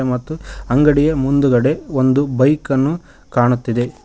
ಮತ್ತು ಅಂಗಡಿಯ ಮುಂದುಗಡೆ ಒಂದು ಬೈಕ್ ಅನ್ನು ಕಾಣುತ್ತಿದೆ.